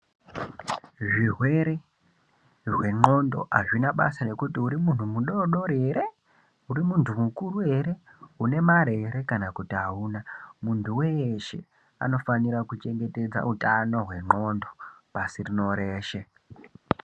Zvirwere zve ndxondo azvinabasa nekuti urimuntu mudodori ere, urimuntu mukuru ere, unemare ere kana kuti auna muntu weshe anofanira kuchengetedza utano hwendxondo pasi rino reshe.